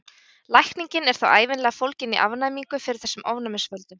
Lækningin er þá ævinlega fólgin í afnæmingu fyrir þessum ofnæmisvöldum.